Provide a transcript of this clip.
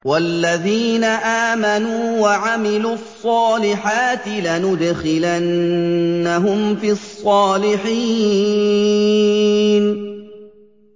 وَالَّذِينَ آمَنُوا وَعَمِلُوا الصَّالِحَاتِ لَنُدْخِلَنَّهُمْ فِي الصَّالِحِينَ